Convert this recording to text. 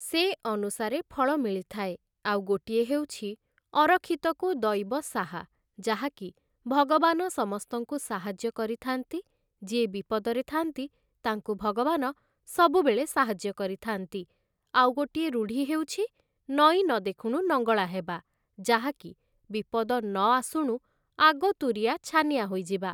ସେ ଅନୁସାରେ ଫଳ ମିଳିଥାଏ ଆଉ ଗୋଟିଏ ହେଉଛି ଅରକ୍ଷିତକୁ ଦଇବ ସାହା ଯାହାକି ଭଗବାନ ସମସ୍ତଙ୍କୁ ସାହାଯ୍ୟ କରିଥାନ୍ତି ଯିଏ ବିପଦରେ ଥାନ୍ତି ତାଙ୍କୁ ଭଗବାନ ସବୁବେଳେ ସାହାଯ୍ୟ କରିଥାନ୍ତି ଆଉ ଗୋଟିଏ ରୁଢ଼ି ହେଉଛି ନଈ ନଦେଖୁଣୁ ନଙ୍ଗଳା ହେବା ଯାହାକି ବିପଦ ନଆସୁଣୁ ଆଗତୁରିଆ ଛାନିଆ ହୋଇଯିବା ।